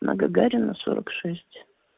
на гагарина сорок шесть